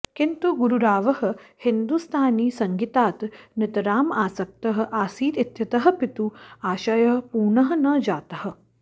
किन्तु गुरुरावः हिन्दुस्तानीसङ्गीतात् नितराम् आसक्तः आसीत् इत्यतः पितुः आशयः पूर्णः न जातः